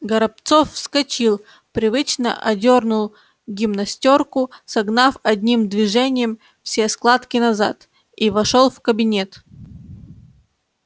горобцов вскочил привычно одёрнул гимнастёрку согнав одним движением все складки назад и вошёл в кабинет